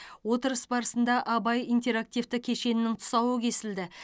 отырыс барысында абай интерактивті кешенінің тұсауы кесілді